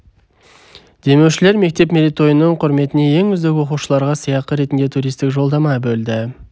демеушілер мектеп мерейтойының құрметіне ең үздік оқушыларға сыйақы ретінде туристік жолдама бөлді